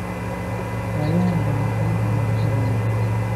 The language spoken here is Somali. Wayahan dambe anigale uhoreya.